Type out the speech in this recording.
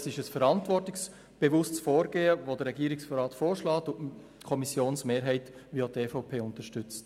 Es ist ein verantwortungsbewusstes Vorgehen, das der Regierungsrat vorschlägt und welches die Kommissionsmehrheit und auch die EVP unterstützt.